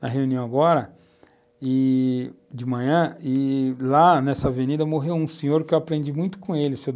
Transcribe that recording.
na reunião agora e de manhã, e lá nessa avenida morreu um senhor que eu aprendi muito com ele, o Sr.